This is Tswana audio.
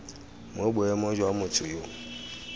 mo boemong jwa motho yo